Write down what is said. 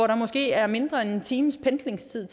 der måske er mindre end en times pendlingstid